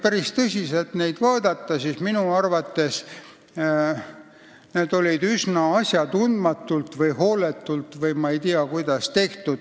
Kui neid tõsiselt vaadata, siis minu arvates on näha, et need on üsna asjatundmatult või hooletult tehtud.